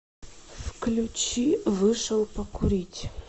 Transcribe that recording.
включи вышел покурить